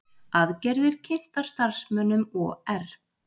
Aðgerðir kynntar starfsmönnum OR